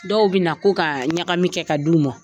Dɔw bɛ na ko ka ɲagami kɛ ka d'u ma.